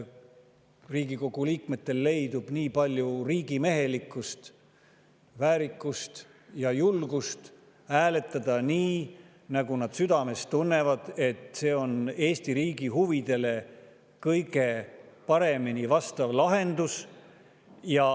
–, et Riigikogu liikmetel leidub nii palju riigimehelikkust, väärikust ja julgust, et nad hääletavad nii, nagu südames tunnevad,, mis on Eesti riigi huvidele kõige paremini vastav lahendus.